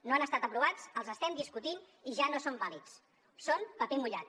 no han estat aprovats els estem discutint i ja no són vàlids són paper mullat